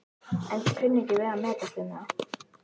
en kunni ekki við að metast um það.